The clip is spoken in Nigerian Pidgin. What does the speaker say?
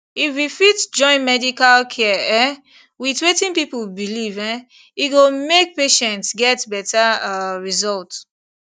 if we fit join medical care um with wetin people believe um e go make patients get better um result